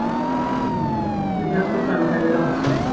Hún er einn efnilegasti framherji landsins